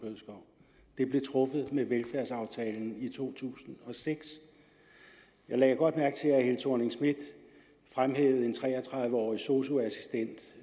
blev truffet med velfærdsaftalen i to tusind og seks jeg lagde godt mærke til at fru thorning schmidt fremhævede en tre og tredive årig sosu assistent